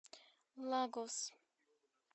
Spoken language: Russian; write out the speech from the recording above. лагос